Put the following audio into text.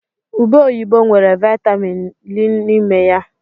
Ụbe oyibo nwere Vaịtamin Ii n'ime ya.